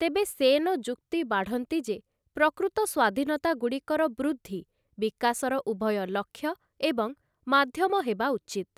ତେବେ ସେନ ଯୁକ୍ତି ବାଢ଼ନ୍ତି ଯେ ପ୍ରକୃତ ସ୍ୱାଧୀନତାଗୁଡ଼ିକର ବୃଦ୍ଧି ବିକାଶର ଉଭୟ ଲକ୍ଷ୍ୟ ଏବଂ ମାଧ୍ୟମ ହେବା ଉଚିତ୍ ।